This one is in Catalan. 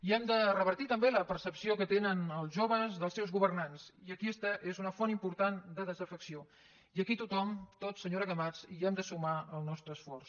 i hem de revertir també la percepció que tenen els joves dels seus governants i aquesta és una font important de des afecció i aquí tothom tots senyora camats hi hem de sumar el nostre esforç